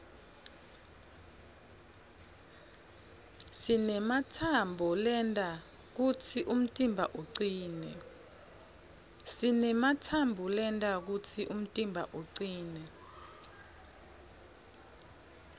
sinematsambo lenta kutsi umtimba ucine